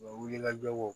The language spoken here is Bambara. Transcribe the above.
wulikajɔw